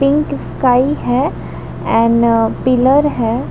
Pink sky है and pillar है।